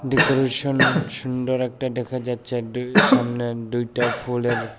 decoration সুন্দর একটা দেখা যাচ্ছে আর দুই সামনে দুইটা ফুলের--